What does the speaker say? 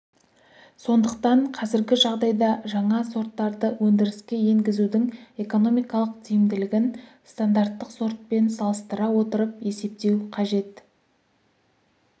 сондықтан қазіргі жағдайда жаңа сорттарды өндіріске енгізудің экономикалық тиімділігін стандарттық сортпен салыстыра отырып есептеу қажет